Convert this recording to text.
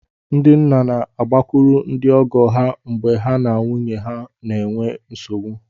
Ndị nna na-agakwuru ndị ọgọ ha mgbe ha na nwunye ha na-enwe nsogbu